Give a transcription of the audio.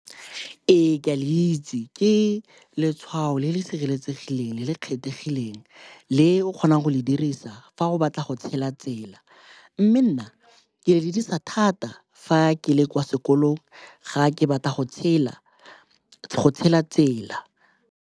Ee, ke a le itse. Ke letshwao le le sireletsegileng le le kgethegileng le o kgonang go le dirisa fa o batla go tshela tsela mme nna ke le dirisa thata fa ke le kwa sekolong ga ke batla go tshela tsela.